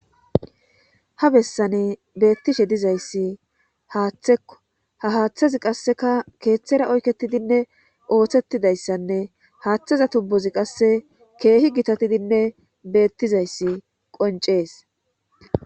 ha bessane beettishe dizayssi haaththekko ha haaththazi qasseka keeththera oyketidinne ooththettidayssanne haaththeza tubbozi qasse keehi gitatidinne beettizayssi qoncees